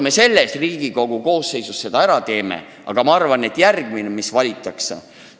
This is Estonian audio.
Ma ei usu, et me selles Riigikogu koosseisus selle ära teeme, aga ehk teeb järgmine, kes valitakse.